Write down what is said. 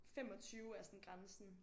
25 er sådan grænsen